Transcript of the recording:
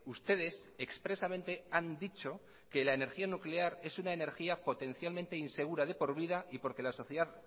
ustedes expresamente han dicho que la energía nuclear es una energía potencialmente insegura de por vida y porque la sociedad